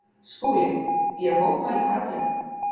SKÚLI: Ég mótmæli harðlega.